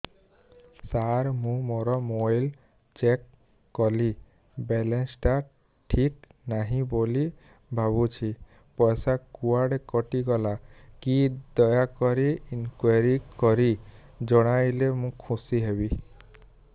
ସାର ମୁଁ ମୋର mobile check କଲି ବାଲାନ୍ସ ଟା ଠିକ ନାହିଁ ବୋଲି ଭାବୁଛି ପଇସା କୁଆଡେ କଟି ଗଲା କି ଦୟାକରି ଇନକ୍ୱାରି କରି ଜଣାଇଲେ ମୁଁ ଖୁସି ହେବି